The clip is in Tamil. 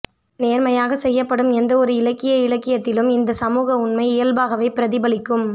நேர்மையாகச் செய்யப்படும் எந்த ஒரு இலக்கிய இயக்கத்திலும் இந்த சமூக உண்மை இயல்பாகவே பிரதிபலிக்கும்